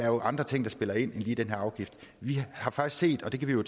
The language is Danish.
er andre ting der spiller ind end lige den her afgift vi har faktisk set og det kan vi jo